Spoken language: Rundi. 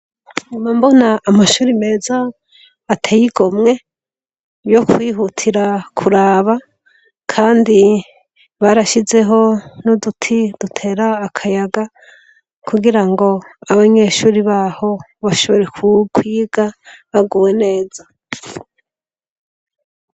Nguma mbona amashuri meza ateye igomwe, yo kwihutira kuraba, kandi barashizeho n'uduti dutera akayaga, kugira ngo abanyeshuri baho bashobore kwiga baguwe neza.